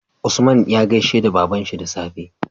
Usman ya gaishe da babanshi da safe